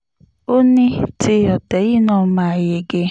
ó ní ti ọ̀tẹ̀ yìí náà máa yege